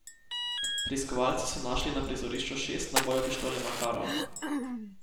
Preiskovalci so našli na prizorišču šest nabojev pištole makarov.